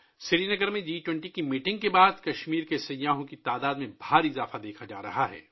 سری نگر میں جی 20 اجلاس کے بعد کشمیر آنے والے سیاحوں کی تعداد میں زبردست اضافہ دیکھا جا رہا ہے